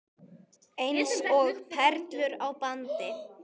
Eins og perlur á bandi.